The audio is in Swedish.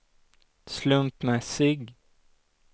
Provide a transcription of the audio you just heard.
slumpmässig